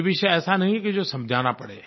ये विषय ऐसा नहीं है कि जो समझाना पड़े